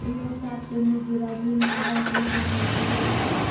તેમનો સ્ટાફ તેમની ગેરહાજરીમાં આવા ઓપરેશન કરતો હોય છે